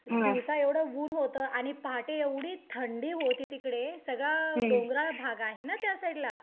दिवसा एवढं ऊन होतं आणि पहाटे एवढी थंडी होती तिकडे सगळं डोंगराळ भाग आहे ना त्यासाईडला